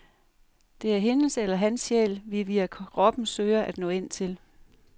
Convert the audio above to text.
Det er hendes eller hans sjæl, vi via kroppen søger at nå ind til.